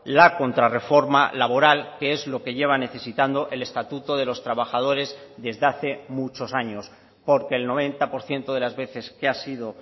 la contrarreforma laboral que es lo que lleva necesitando el estatuto de los trabajadores desde hace muchos años porque el noventa por ciento de las veces que ha sido